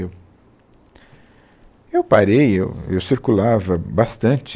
Eu, eu parei, eu eu circulava bastante.